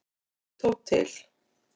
Hann tók til.